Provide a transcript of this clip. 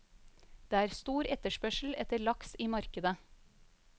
Det er stor etterspørsel etter laks i markedet.